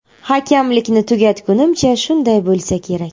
Hakamlikni tugatgunimcha shunday bo‘lsa kerak.